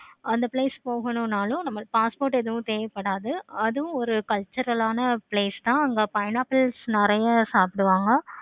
அந்த place போகணும்னாலும் நம்ம passport எதுவும் தேவைப்படாது. அதுவும் ஒரு cultural ஆனா place தான் அங்க pineapples நெறைய சாப்பிடுவாங்க.